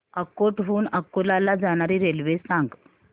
अकोट हून अकोला ला जाणारी रेल्वे सांग